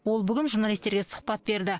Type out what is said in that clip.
ол бүгін журналистерге сұхбат берді